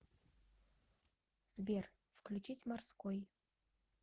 сбер включить морской